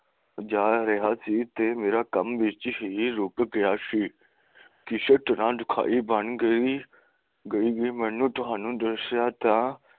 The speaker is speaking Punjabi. ਜਾ ਰਿਹਾ ਸੀ ਤੇ ਮੇਰਾ ਕੰਮ ਵਿੱਚ ਹੀ ਰੁੱਕ ਗਿਆ ਸੀ ਕਿਸੇ ਤਰ੍ਹਾਂ ਦੁਖਾਇ ਬਣ ਕੇ ਗ਼ਰੀਬੀ ਬਣ ਨੂੰ ਤੁਹਾਨੂੰ ਦਸਿਆ ਤਾਂ